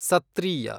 ಸತ್ತ್ರೀಯ